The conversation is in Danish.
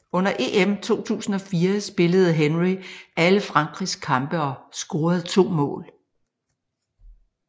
Under EM 2004 spillede Henry alle Frankrigs kampe og scorede to mål